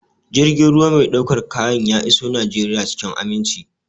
Jirgin ruwa mai ɗaukar kayan ya iso Najeriya cikin aminci.